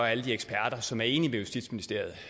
alle de eksperter som er enige med justitsministeriet